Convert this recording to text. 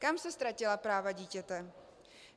Kam se ztratila práva dítěte?